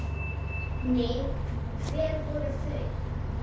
Nei, hver voru þau?